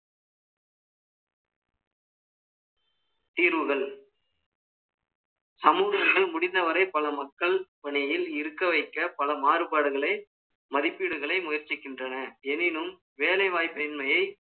தீர்வுகள் சமூகங்கள் முடிந்தவரை பல மக்கள் பணியில் இருக்க வைக்க பல மாறுபாடுகளை மதிப்பீடுகளை முயற்சிக்கின்றன. எனினும், வேலைவாய்ப்பின்மையை